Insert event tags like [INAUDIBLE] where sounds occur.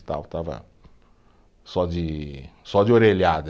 [UNINTELLIGIBLE] estava só de, só de orelhada.